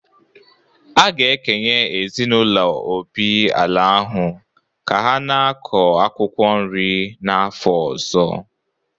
A ga-ekenye ezinaụlọ Obi ala ahụ ka ha na-akọ akwụkwọ nri n’afọ ọzọ